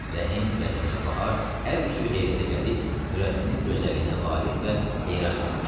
Rəhim, Rəhimə, Bahar hər üçü heyrətə gəlib Nurəddinin gözəlliyinə valeh və heyran qalmışdılar.